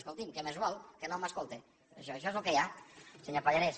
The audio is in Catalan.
escolti’m què més vol que no m’escolte això és lo que hi ha senyor pallarès